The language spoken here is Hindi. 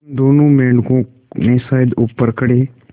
उन दोनों मेढकों ने शायद ऊपर खड़े